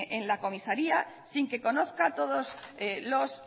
en la comisaría sin que conozca todos los